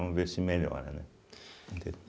Vamos ver se melhora, né?